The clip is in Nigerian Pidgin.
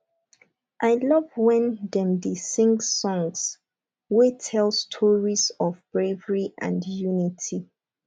i love wen dem dey sing songs wey tell stories of bravery and unity